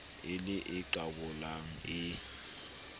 e le e qabolang e